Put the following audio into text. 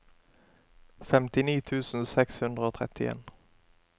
femtini tusen seks hundre og trettien